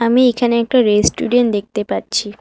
আমি এইখানে একটা রেস্টুরেন্ট দেখতে পাচ্ছি।